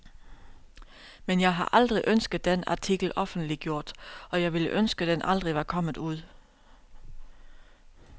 Men jeg har aldrig ønsket den artikel offentliggjort, og jeg ville ønske den aldrig var kommet ud.